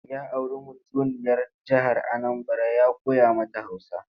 Ya auri mutuniyar jihar Anambara ya koya mata Hausa.